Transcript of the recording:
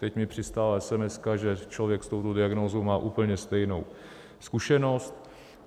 Teď mi přistála SMS, že člověk s touto diagnózou má úplně stejnou zkušenost.